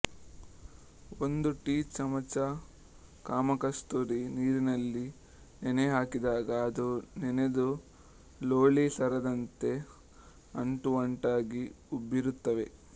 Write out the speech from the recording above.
ಒಂದು ಟೀ ಚಮಚ ಕಾಮಕಸ್ತೂರಿ ನೀರಿನಲ್ಲಿ ನೆನೆಹಾಕಿದಾಗ ಅದು ನೆನೆದು ಲೋಳಿ ಸರದಂತೆ ಅಂಟು ಅಂಟಾಗಿ ಉಬ್ಬಿರುತ್ತವೆ